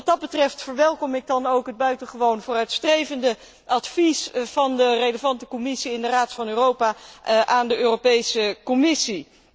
Wat dat betreft verwelkom ik dan ook het buitengewoon vooruitstrevende advies van de bevoegde commissie in de Raad van Europa aan de Europese Commissie.